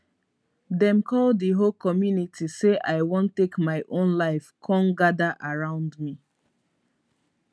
dem call di whole community say i wan take my own life kon gada around me